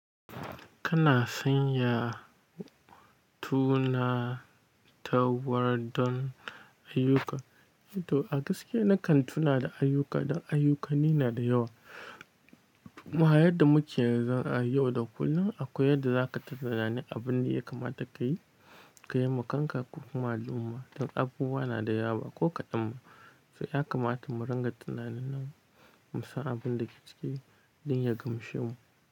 Kana sanya tuna ta war don ayyuka. A gaskiya na kan tuna da ayyuka dan ayyukani na da yawa. Ma, yadda muke yanzu a yau da kullum akwai yadda za ka tunani abin da ya kamata ka yi, ka yi ma kanka ko kuma al'umma. Don abubuwa na da yawa ko kaɗan. Toh ya kamata mu ringa tunanin nan mu san abin da ke ciki don ya gamshe mu.